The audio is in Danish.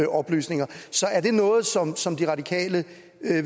oplysninger er det noget som som de radikale